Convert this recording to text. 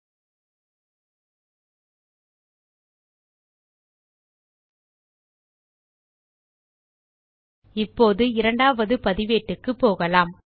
ல்ட்பாசெக்ட் இப்போது இரண்டாவது பதிவேட்டுக்கு போகலாம்